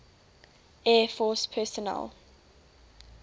air force personnel